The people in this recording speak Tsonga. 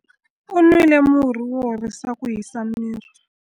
U nwile murhi wo horisa ku hisa miri.